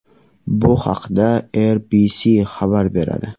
Bu haqda RBC xabar beradi.